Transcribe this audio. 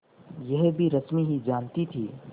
यह भी रश्मि ही जानती थी